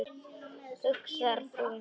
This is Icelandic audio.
hugsar þú.